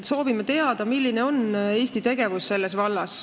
Soovime teada, milline on Eesti tegevus selles vallas.